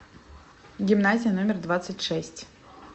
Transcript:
гимназия номер двадцать шесть